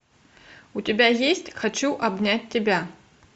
у тебя есть хочу обнять тебя